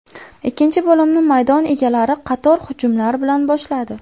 Ikkinchi bo‘limni maydon egalari qator hujumlar bilan boshladi.